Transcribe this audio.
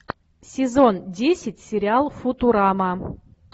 сезон десять сериал футурама